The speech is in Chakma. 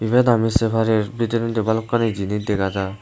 ibet ami sey parir bidirendi balokkani jinich dega jar.